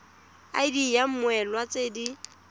id ya mmoelwa tse di